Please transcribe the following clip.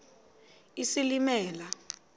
isilimela